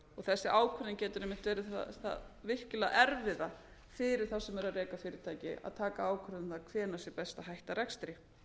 þessi ákvörðun getur einmitt verið það virkilega erfiða fyrir þá sem eru að reka fyrirtæki að taka ákvörðun um það hvenær sé best að hætt rekstri